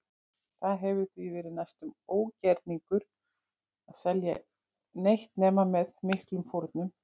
Það hefur því verið næstum ógerningur að selja neitt nema með miklum fórnum.